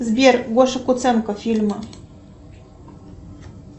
сбер гоша куценко фильмы